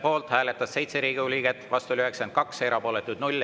Poolt hääletas 7 Riigikogu liiget, vastu oli 92 ja erapooletuks jäi 0.